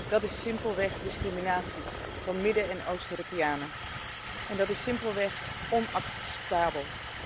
Dat is simpelweg discriminatie van Midden en Oost Europeanen, en dat is simpelweg onacceptabel.